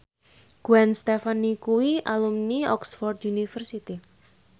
Gwen Stefani kuwi alumni Oxford university